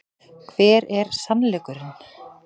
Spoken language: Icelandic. Hver er SANNLEIKURINN?